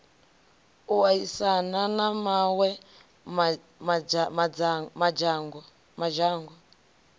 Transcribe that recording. u aisana na mawe madzhango